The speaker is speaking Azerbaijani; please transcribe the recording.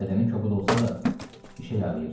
Bədəni kobud olsa da, işə yarıyırdı.